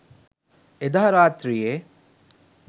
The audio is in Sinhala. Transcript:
එදා රාත්‍රියේ